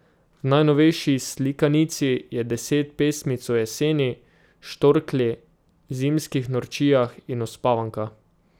V najnovejši slikanici je deset pesmic o jeseni, štorklji, zimskih norčijah in uspavanka.